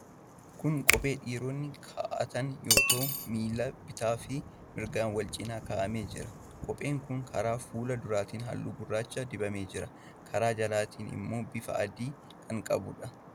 Kun kophee dhiironni kaa'atan yoo ta'u, miila bitaa fi mirgaan wal cina kaa'amee jira. Kopheen kun karaa fuula duraatiin halluu gurraacha dibamee jira. Karaa jalaatiin immoo bifa adii kan qabuudha.